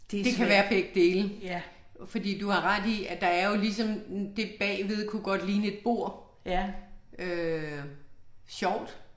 Det kan være begge dele. Fordi du har ret i at der er jo ligesom, det bagved kunne godt ligne et bord. Øh, sjovt